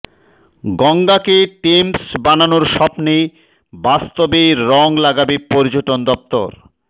গঙ্গাকে Thames বানানোর স্বপ্নে বাস্তবের রং লাগাবে পর্যটন দফতর